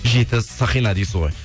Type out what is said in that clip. жеті сақина дейсіз ғой